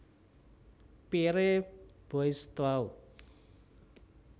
Pierre Boaistuau